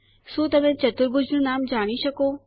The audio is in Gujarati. શું તમે ચતુર્ભુજ નું નામ જાણી શકો